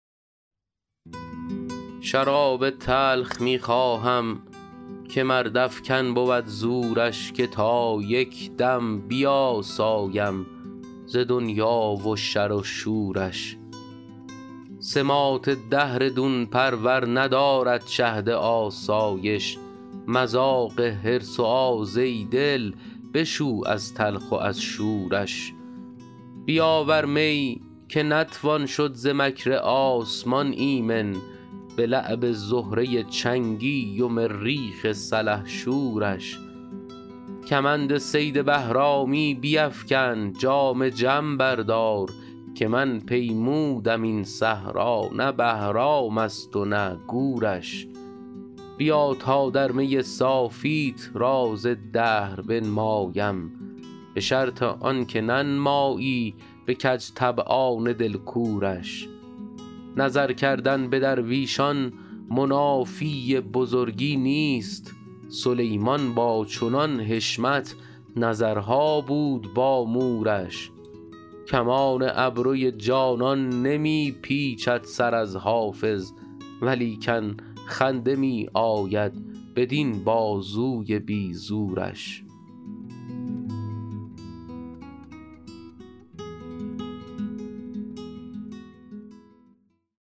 شراب تلخ می خواهم که مردافکن بود زورش که تا یک دم بیاسایم ز دنیا و شر و شورش سماط دهر دون پرور ندارد شهد آسایش مذاق حرص و آز ای دل بشو از تلخ و از شورش بیاور می که نتوان شد ز مکر آسمان ایمن به لعب زهره چنگی و مریخ سلحشورش کمند صید بهرامی بیفکن جام جم بردار که من پیمودم این صحرا نه بهرام است و نه گورش بیا تا در می صافیت راز دهر بنمایم به شرط آن که ننمایی به کج طبعان دل کورش نظر کردن به درویشان منافی بزرگی نیست سلیمان با چنان حشمت نظرها بود با مورش کمان ابروی جانان نمی پیچد سر از حافظ ولیکن خنده می آید بدین بازوی بی زورش